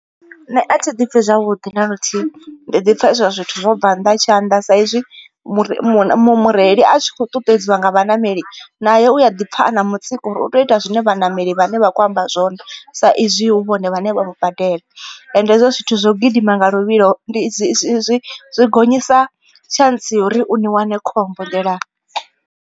Nṋe athi ḓi pfi zwavhuḓi na luthihi ndi ḓi pfha izwo zwithu zwo bva nnḓa ha tshanḓa sa izwi mure mureili a tshi khou ṱuṱuwedziwa nga vhaṋameli nae u a ḓi pfha a na mutsiko uri u to ita zwine vhaṋameli vhane vha kho amba zwone. Sa izwi hu vhone vhane vha vha badela ende hezwo zwithu zwo gidima nga luvhilo ndi dzi dzi dzi dzi gonyisa tshantsi yori u ni wane khombo nḓilani.